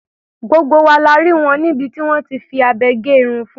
Gbogbo wa la rí wọ níbi tí wọ́n ti fi abẹ gé irun fun.